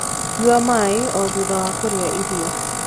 Nyua maĩ o thutha wa kurĩa irio